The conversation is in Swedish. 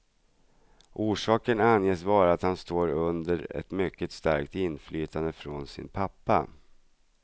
Orsaken anges vara att han står under ett mycket starkt inflytande från sin pappa.